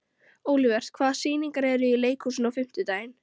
Olivert, hvaða sýningar eru í leikhúsinu á fimmtudaginn?